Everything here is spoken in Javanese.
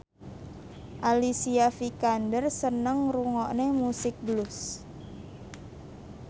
Alicia Vikander seneng ngrungokne musik blues